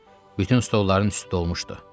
Bütün stolların üstü dolmuşdu.